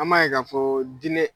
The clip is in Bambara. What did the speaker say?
An m'a ye ka fɔ diinɛ